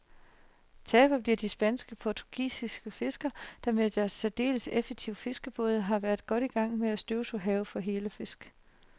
Taberne bliver de spanske og portugisiske fiskere, der med deres særdeles effektive fiskerbåde har været godt i gang med at støvsuge havet for hellefisk.